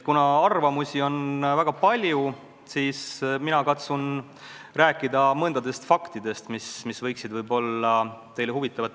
Kuna arvamusi on väga palju, siis mina katsun rääkida mõningatest faktidest, mis võiksid teile huvi pakkuda.